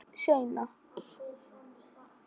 Ég hringi seinna.